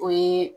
O ye